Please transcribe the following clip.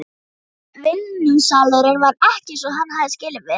Vinnusalurinn var ekki eins og hann hafði skilið við hann.